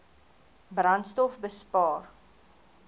brandstofbespaar